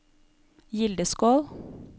Gildeskål